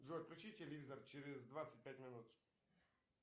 джой включи телевизор через двадцать пять минут